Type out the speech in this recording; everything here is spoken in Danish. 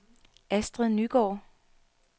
Astrid Nygaard